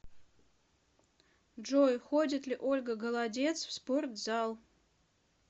джой ходит ли ольга голодец в спортзал